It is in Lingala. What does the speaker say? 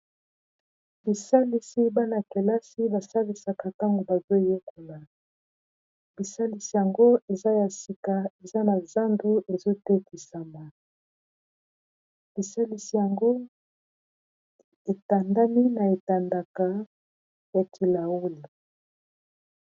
bisalisi bana-kelasi basalisaka ntango bazo yekona bisalisi yango eza ya sika eza na zandu ezotetisama bisalisi yango etandami na etandaka ya kilaule